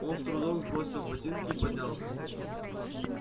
он с трудом сбросил ботинки и поднялся